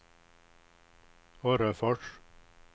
Orrefors